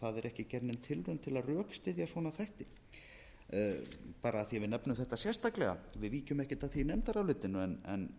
ekki gerð nein tilraun til að rökstyðja svona þætti bara af því að við nefnum þetta sérstaklega við víkjum ekkert að því í nefndarálitinu en